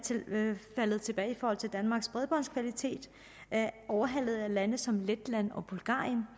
faldet tilbage i forhold til danmarks bredbåndskvalitet overhalet af lande som letland og bulgarien